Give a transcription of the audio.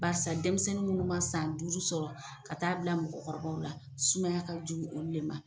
Barisa denmisɛnnin munnu ma san duuru sɔrɔ ka taa bila mɔgɔkɔrɔbaw la, sumaya ka jugu olu le ma.